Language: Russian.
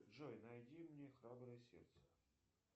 джой найди мне храброе сердце